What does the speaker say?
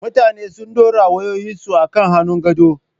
Mutane suna dora wayoyinsu a kan hannun gado.